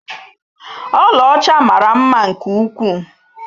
Ọla ọcha mara mma nke ukwuu.